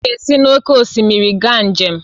M ga-esi n'oké osimiri gaa njem